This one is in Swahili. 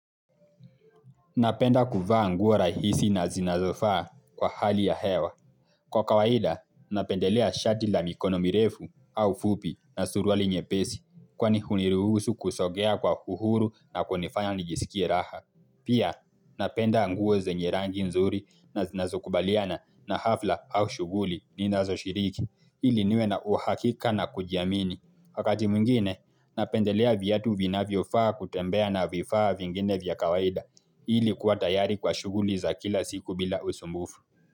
Napenda kuvaa nguo rahisi na zinazofaa kwa hali ya hewa. Kwa kawaida, napendelea shati la mikono mirefu au fupi na suruali nyepesi kwani huniruhusu kusogea kwa uhuru na kunifanya nijisikie raha. Pia, napenda nguo zenye rangi nzuri na zinazokubaliana na hafla au shuguli ninazo shiriki, ili niwe na uhakika na kujiamini. Wakati mwingine, napendelea viatu vinavyofaa kutembea na vifaa vingine vya kawaida, ili kuwa tayari kwa shughuli za kila siku bila usumbufu.